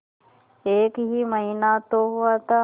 एक ही महीना तो हुआ था